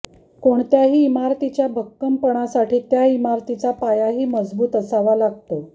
कोणत्याही इमारतीच्या भक्कमपणासाठी त्या इमारतीचा पायाही मजबूत असावा लागतो